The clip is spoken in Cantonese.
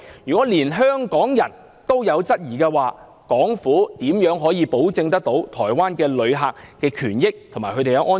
如果連香港人也有質疑，港府如何保障台灣旅客的權益及安全？